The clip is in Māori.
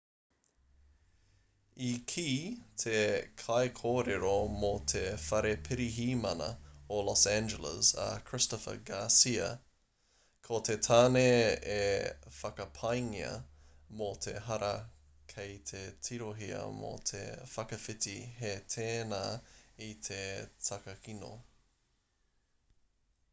i kī te kaikōrero mō te whare pirihimana o los angeles a christopher garcia ko te tāne e whakapaengia mō te hara kei te tirohia mō te whakawhiti hē tēnā i te takakino